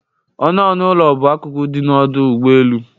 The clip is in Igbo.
Ọnụ ọnụ ụlọ bụ akụkụ dị n'ọdụ ụgbọ elu